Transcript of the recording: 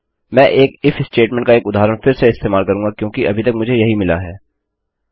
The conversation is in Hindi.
मैं एक इफ statementस्टेट्मेन्ट का एक उदाहरण फिर से इस्तेमाल करूँगा क्योंकि अभी तक मुझे यही मिला है